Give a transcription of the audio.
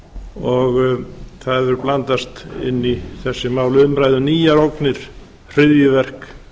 og það hefur blandast inn í þessi mál umræða um nýjar ógnir hryðjuverk